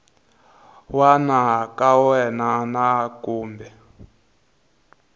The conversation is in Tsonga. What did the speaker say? wana ka wena na kumbe